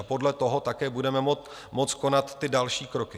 A podle toho také budeme moct konat ty další kroky.